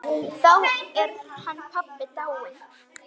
Þá er hann pabbi dáinn.